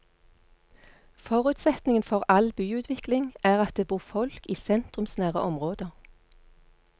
Forutsetningen for all byutvikling er at det bor folk i sentrumsnære områder.